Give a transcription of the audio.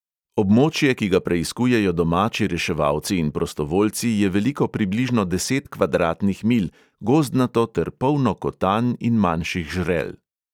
Območje, ki ga preiskujejo domači reševalci in prostovoljci, je veliko približno deset kvadratnih milj, gozdnato ter polno kotanj in manjših žrel.